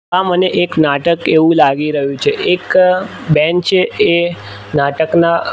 આ મને એક નાટક એવુ લાગી રહ્યુ છે એક બેન છે એ નાટકના--